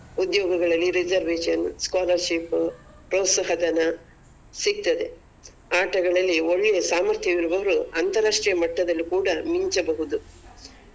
ಉದ್ಯೋಗಗಳಲ್ಲಿ reservation scholarship ಪ್ರೋತ್ಸಾಹದನ ಸಿಗ್ತದೆ ಆಟಗಳಲ್ಲಿ ಒಳ್ಳೆಯ ಸಾಮರ್ಥ್ಯ ಇರುವವರು ಅಂತಾರಾಷ್ಟ್ರೀಯ ಮಟ್ಟದಲ್ಲಿ ಕೂಡ ಮಿಂಚಬಹುದು.